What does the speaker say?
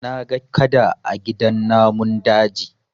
Na ga Kada a gidan namun daji